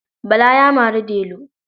Bala ya mari Delu.